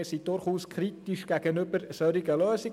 Wir sind durchaus kritisch gegenüber solchen Lösungen.